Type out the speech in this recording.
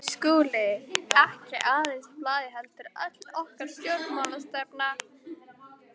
SKÚLI: Ekki aðeins blaðið heldur öll okkar stjórnmálastefna.